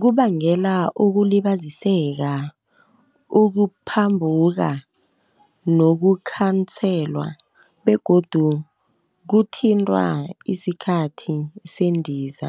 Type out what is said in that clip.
Kubangela ukulibaziseka, ukuphambuka nokukhanselwa begodu kuthintwa isikhathi sendiza.